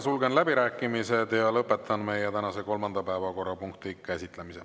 Sulgen läbirääkimised ja lõpetan meie tänase kolmanda päevakorrapunkti käsitlemise.